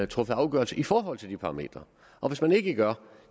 truffet afgørelse i forhold til de parametre og hvis man ikke gør